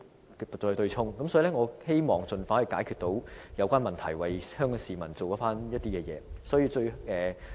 所以，我希望當局能夠盡快解決有關問題，為香港市民做事。